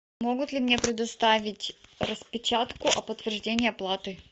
могут ли мне предоставить распечатку о подтверждении оплаты